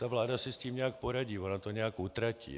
Ta vláda si s tím nějak poradí, ona to nějak utratí.